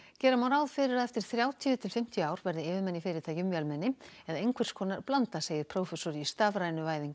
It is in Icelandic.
gera má ráð fyrir að eftir þrjátíu til fimmtíu ár verði yfirmenn í fyrirtækjum vélmenni eða einhvers konar blanda segir prófessor í stafrænu væðingu